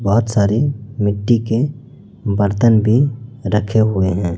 बहोत सारे मिट्टी के बर्तन भीं रखे हुए हैं।